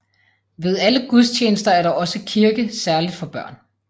Ved alle gudstjenester er der også kirke særligt for børn